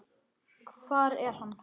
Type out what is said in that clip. Hvar er hann?